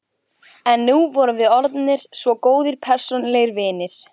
En nú vorum við orðnir svo góðir persónulegir vinir.